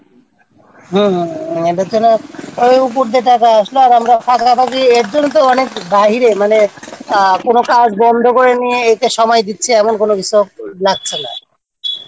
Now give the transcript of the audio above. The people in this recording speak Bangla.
হম এখানে এই উপর দিয়ে টাকা আসল আর আমরা পাশাপাশি এরজন্য তো অনেক বাইরে মানে কোনও কাজ বন্ধ করে নিয়ে এটায় সময় দিচ্ছি এমন কোনও কিছু লাগছে না